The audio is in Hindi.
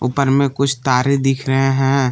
ऊपर में कुछ तारे दिख रहे हैं ।